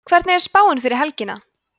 hvernig er spáin fyrir helgina